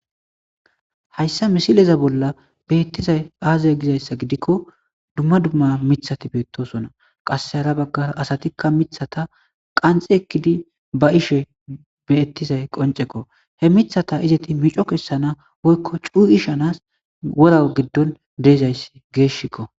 hayssa misileza bolla beettizay aazay gizayssa gidikko dumma dumma mithati beettosona qasse hara baggara asatikka mithata qanxi ekkidi ba ishe beettizay qoncekko he mithata izeti mico kessana woykko cuu ishanas wora giddon deezayssi geeshshikko